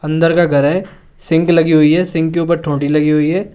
अंदर का घर है सिंक लगी हुई है सिंक के ऊपर टोटी लगी हुई है।